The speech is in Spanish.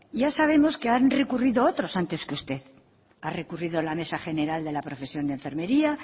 ya sabemos que han recurrido otros antes que usted ha recurrido la mesa general de la profesión de enfermería